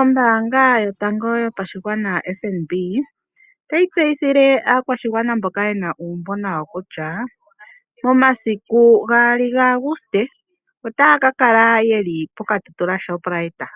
Ombaanga yotango yopashigwana, FNB, otayi tseyithile aakwashigwana mboka ye na uumbo nayo kutya, momasiku 2 Auguste otaya ka kala ye li poKatutula Shoprite.